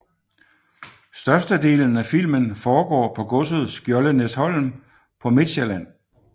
Størstedelen af filmen foregår på godset Skjoldenæsholm på Midtsjælland